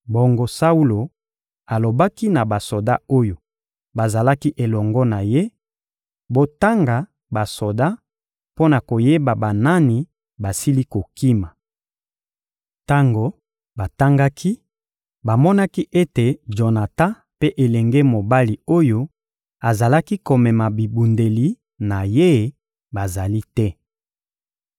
Bongo Saulo alobaki na basoda oyo bazalaki elongo na ye: «Botanga basoda mpo na koyeba banani basili kokima.» Tango batangaki, bamonaki ete Jonatan mpe elenge mobali oyo azalaki komema bibundeli na ye bazali te.